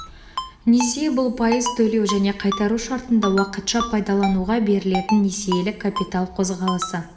несие бұл пайыз төлеу және қайтару шартында уақытша пайдалануға берілетін несиелік капитал қозғалысы